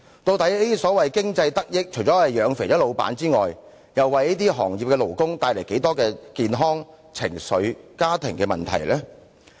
究竟所謂經濟得益，除了養胖了老闆外，為這些行業的勞工帶來多少健康、情緒和家庭問題呢？